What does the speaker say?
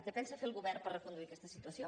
què pensa fer el govern per reconduir aquesta situació